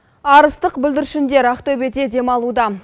арыстық бүлдіршіндер ақтөбеде демалуда